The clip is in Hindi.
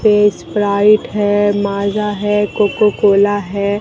ये स्प्राइट है माजा है कोकोकोला है।